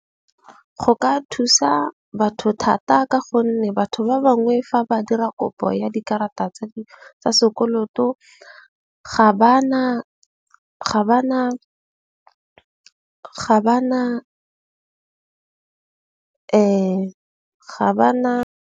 Go ka thusa batho thata. Ka gonne batho ba bangwe fa ba dira kopo ya dikarata tsa di tsa sekoloto, ga ba na ga ba na.